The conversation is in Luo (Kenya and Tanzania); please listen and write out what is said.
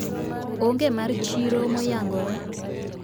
Onge mar chiro moyangore